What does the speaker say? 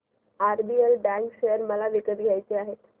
RBL bank share मला विकत घ्यायचे आहेत